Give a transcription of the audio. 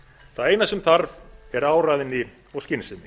það eina sem þarf er áræðni og skynsemi